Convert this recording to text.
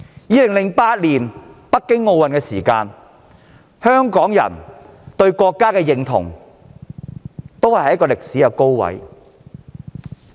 在2008年北京奧運期間，香港人對國家的認同處於歷史高位。